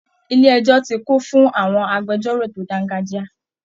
Ilé ẹjọ́ ti kún fún àwọn agbẹjọ́rò tó dángájíá